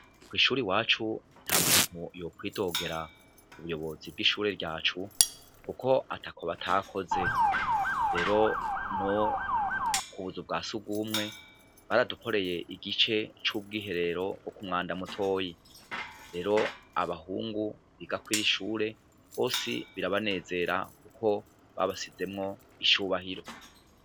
Kw'ishure iwacu nta muntu yokwidogera ubuyobozi bw'ishure ryacu, kuko atako batakoze. Rero, no ku buzu bwa surwumwe, baradukoreye igice c'ubwiherero bwo ku mwanda mutoya. Rero abahungu kw'iri shure, bose birabanezera kuko babashizemwo icubahiro.